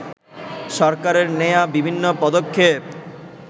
সরকারের নেয়া বিভিন্ন পদক্ষেপ